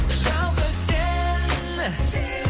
жалғыз сен